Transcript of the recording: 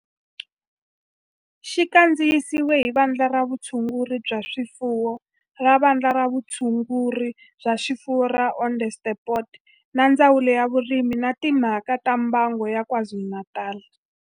Xi kandziyisiwe hi Vandla ra Vutshunguri bya swifuwo ra Vandla ra Vutshunguri bya swifuwo ra Onderstepoort na Ndzawulo ya Vurimi na Timhaka ta Mbango ya KwaZulu-Natal